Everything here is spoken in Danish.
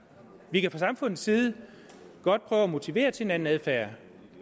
vi kan fra samfundets side godt prøve at motivere til en anden adfærd